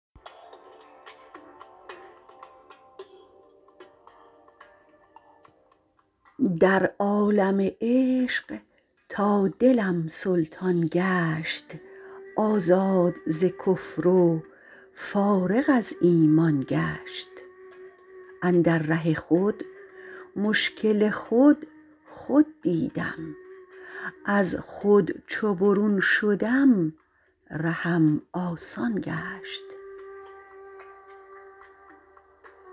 در عالم عشق تا دلم سلطان گشت آزاد ز کفر و فارغ از ایمان گشت اندر ره خود مشکل خود خود دیدم از خود چو برون شدم رهم آسان گشت